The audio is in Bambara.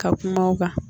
Ka kuma u kan